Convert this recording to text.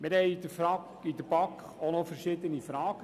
Wir stellten seitens der BaK noch verschiedene Fragen.